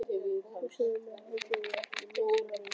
forstöðumaðurinn og hjúkrunarkonan, gæti það valdið misskilningi.